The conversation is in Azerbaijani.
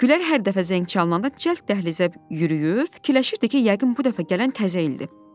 Gülər hər dəfə zəng çalınanda cəld dəhlizə yürüyür, fikirləşirdi ki, yəqin bu dəfə gələn təzə ildir.